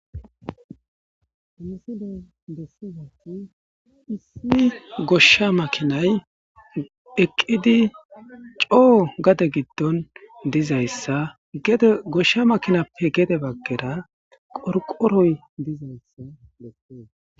Ha minisilay bessizati issi goshsha makinay eqqidi coo gade giddon dizayssa gede goshsha makinappe gede baggera qorqoroy dizayssa besse